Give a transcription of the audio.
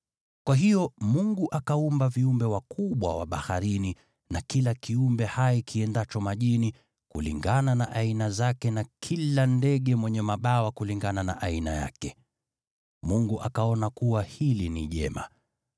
Kwa hiyo Mungu akaumba viumbe wakubwa wa baharini na kila kiumbe hai kiendacho majini kulingana na aina zake, na kila ndege mwenye mabawa kulingana na aina yake. Mungu akaona kuwa hili ni jema.